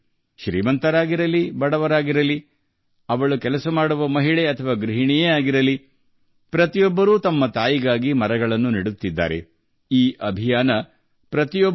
ಪ್ರತಿಯೊಬ್ಬರೂ ಒಬ್ಬರ ತಾಯಿಗಾಗಿ ಸಸಿಗಳನ್ನು ನೆಡುತ್ತಾರೆ - ಶ್ರೀಮಂತರಾಗಿರಲಿ ಅಥವಾ ಬಡವರಾಗಿರಲಿ ಕೆಲಸ ಮಾಡುವ ಮಹಿಳೆಯಾಗಿರಲಿ ಅಥವಾ ಗೃಹಿಣಿಯಾಗಿರಲಿ